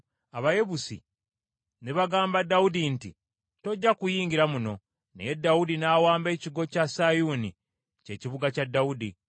Abayebusi ne bagamba Dawudi nti, “Tojja kuyingira muno.” Naye Dawudi n’awamba ekigo kya Sayuuni, ky’ekibuga kya Dawudi.